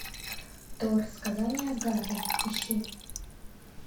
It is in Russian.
тор сказание асгарда ищи